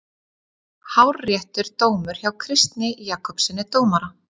Hárréttur dómur hjá Kristni Jakobssyni dómara.